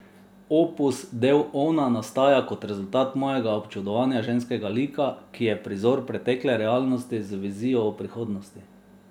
Opus del Ona nastaja kot rezultat mojega občudovanja ženskega lika, ki je prizor pretekle realnosti z vizijo o prihodnosti.